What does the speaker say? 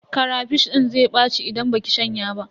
Karafish din zai ɓaci idan baki shanya ba.